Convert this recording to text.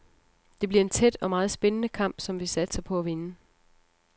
Det bliver en tæt og meget spændende kamp, som vi satser på at vinde.